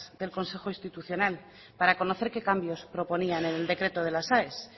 del consejo institucional para conocer qué cambios proponían en el decreto de la aes